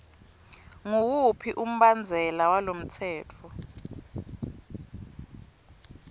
nguwuphi umbandzela walomtsetfo